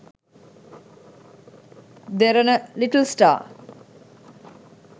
derana little star